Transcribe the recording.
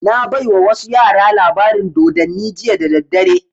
Na baiwa wasu yara labarin dodanni jiya da daddare